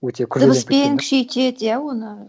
өте дыбыспен күшейтеді иә оны